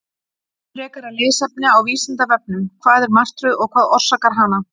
Frekara lesefni á Vísindavefnum: Hvað er martröð og hvað orsakar hana?